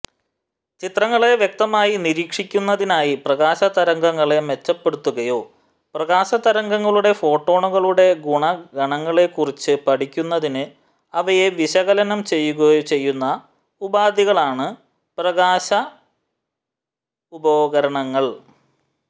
ചിത്രങ്ങളെ വ്യക്തമായി നിരീക്ഷിക്കുന്നതിനായി പ്രകാശതരംഗങ്ങളെ മെച്ചപ്പെടുത്തുകയോ പ്രകാശതരംഗങ്ങളുടെ ഫോട്ടോണുകളുടെ ഗുണഗണങ്ങളെക്കുറിച്ച് പഠിക്കുന്നതിന് അവയെ വിശകലനം ചെയ്യുകയോ ചെയ്യുന്ന ഉപാധികളാണ് പ്രകാശികോപകരണങ്ങൾ